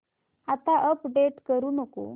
आता अपडेट करू नको